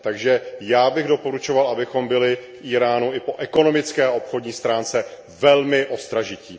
Takže já bych doporučoval, abychom byli k Íránu i po ekonomické a obchodní stránce velmi ostražití.